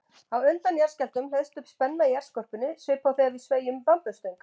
Á undan jarðskjálftum hleðst upp spenna í jarðskorpunni svipað og þegar við sveigjum bambusstöng.